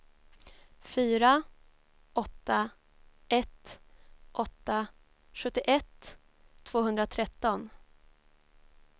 fyra åtta ett åtta sjuttioett tvåhundratretton